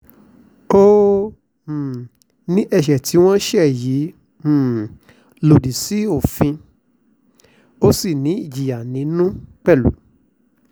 ó um ní ẹ̀ṣẹ̀ tí wọ́n ṣẹ̀ yìí um lòdì sófin ó sì ní ìjìyà nínú